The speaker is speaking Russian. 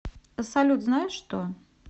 салют знаешь что